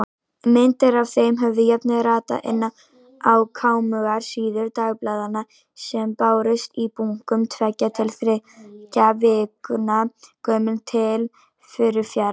Myndir af þeim höfðu jafnvel ratað inn á kámugar síður dagblaðanna sem bárust í bunkum, tveggja til þriggja vikna gömul, til Furufjarðar.